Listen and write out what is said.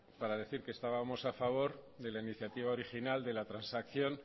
para decir que estábamos a favor de la iniciativa original de la transacción